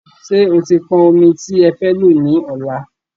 Ṣé e ti pọn ọmi tí e fẹ́ lọ ní ọlá?